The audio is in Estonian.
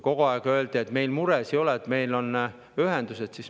Kogu aeg öeldi, et meil muresid ei ole, meil on ühendused.